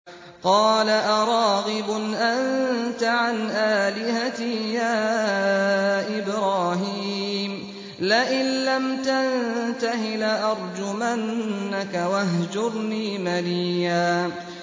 قَالَ أَرَاغِبٌ أَنتَ عَنْ آلِهَتِي يَا إِبْرَاهِيمُ ۖ لَئِن لَّمْ تَنتَهِ لَأَرْجُمَنَّكَ ۖ وَاهْجُرْنِي مَلِيًّا